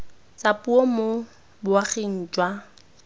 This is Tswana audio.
tsa puo mo boaging jwa